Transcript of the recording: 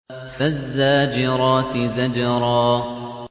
فَالزَّاجِرَاتِ زَجْرًا